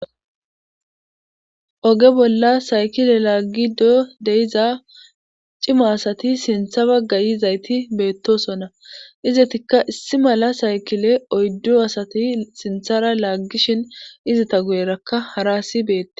Oge bolla saykile laaggi do deiza cima asati sintha baggayizayti beettosona izatikka issi mala saykile oyddu asati sinthara laaggishin izita guyerakka hara asi beette.